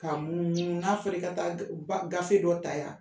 Ka munumunu n'a fɔr'i ka taa ka ga gafe dɔ ta yan